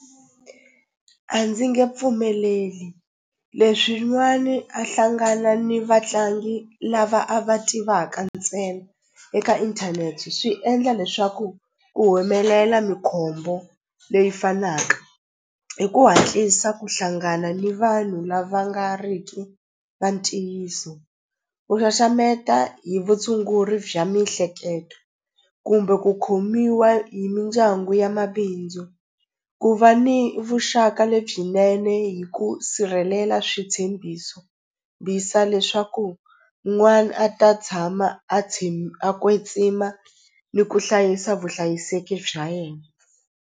A ndzi nge pfumeleli leswin'wani a hlangana ni vatlangi lava a va tivaka ntsena eka inthanete swi endla leswaku ku humelela mikhombo leyi fanaka hi ku hatlisa ku hlangana ni vanhu lava nga ri ki va ntiyiso ku xaxameta hi vutshunguri bya mihleketo kumbe ku khomiwa hi mindyangu ya mabindzu ku va ni vuxaka lebyinene hi ku sirhelela switshembiso leswaku n'wana a ta tshama a tshama a a kwetsima ni ku hlayisa vuhlayiseki bya yena.